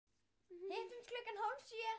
Hittumst klukkan hálf sjö.